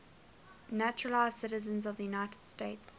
naturalized citizens of the united states